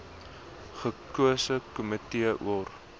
gekose komitee or